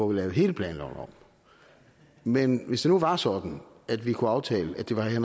vi laver hele planloven om men hvis nu det var sådan at vi kunne aftale at det var herre